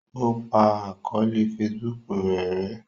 o pa àkọọlẹ Facebook rẹ rè